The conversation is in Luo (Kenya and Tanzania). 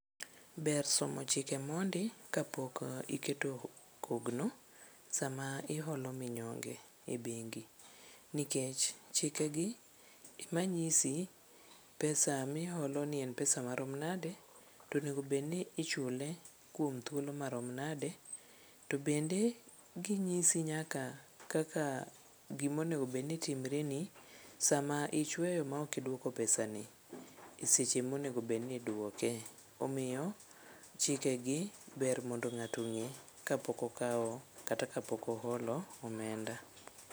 Ber somo chike mondi kapok iketo kogno sama iholo minyonge e bengi nikech chikegi ema nyisi pesa miholoni en pesa marom nadi to onego bedni ichule kuom thuolo marom nade to bende ginyisi nyaka kaka gimonegobedni timreni sama ichweyo maok idwoko pesani e seche monegobed ni idwoke. Omiyo chikegi ber mondo ng'ato ong'e kapok okawo kata kapok oholo omenda.